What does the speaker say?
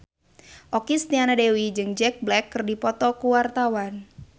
Okky Setiana Dewi jeung Jack Black keur dipoto ku wartawan